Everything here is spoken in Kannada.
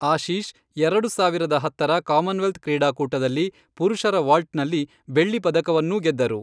ಆಶೀಷ್ ಎರಡು ಸಾವಿರದ ಹತ್ತರ ಕಾಮನ್ವೆಲ್ತ್ ಕ್ರೀಡಾಕೂಟದಲ್ಲಿ ಪುರುಷರ ವಾಲ್ಟ್ನಲ್ಲಿ ಬೆಳ್ಳಿ ಪದಕವನ್ನೂ ಗೆದ್ದರು.